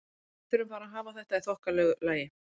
Við þurfum bara að hafa þetta í þokkalegu lagi.